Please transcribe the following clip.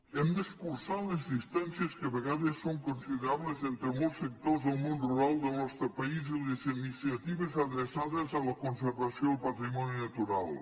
hem d’escurçar les distàncies que a vegades són considerables entre molts sectors del món rural del nostre país i les iniciatives adreçades a la conservació del patrimoni natural